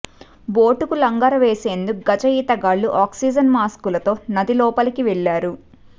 బోటుకు లంగరు వేసేందుకు గజ ఈతగాళ్లు ఆక్సీజన్ మాస్క్లతో నదిలోపలికి వెళ్లారు